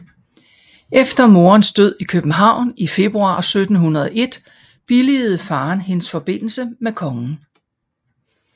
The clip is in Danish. Efter moderens død i København i februar 1701 billigede faderen hendes forbindelse med kongen